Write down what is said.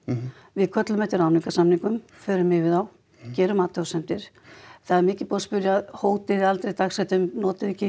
við köllum eftir ráðningarsamningum förum yfir þá gerum athugasemdir það er mikið búið að spyrja hótið þið aldrei dagsektum notið